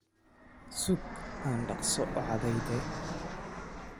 Suug Aan dhaqso u cadayde